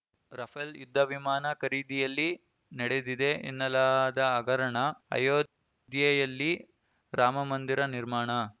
Rafale ಯುದ್ಧ ವಿಮಾನ ಖರೀದಿಯಲ್ಲಿ ನಡೆದಿದೆ ಎನ್ನಲಾದ ಹಗರಣ ಅಯೋಧ್ಯೆಯಲ್ಲಿ ರಾಮಮಂದಿರ ನಿರ್ಮಾಣ